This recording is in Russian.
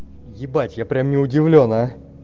ебать я прям не удивлён а